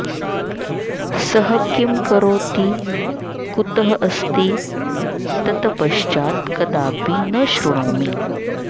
सः किं करोति कुतः अस्ति ततपश्चात् कदापि न शृणोमि